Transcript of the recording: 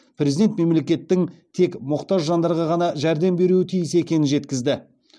президент мемлекеттің тек мұқтаж жандарға ғана жәрдем беруі тиіс екенін жеткізді